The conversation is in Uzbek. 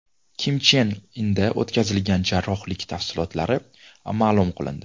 Kim Chen Inda o‘tkazilgan jarrohlik tafsilotlari ma’lum qilindi.